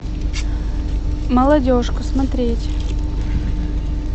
молодежка смотреть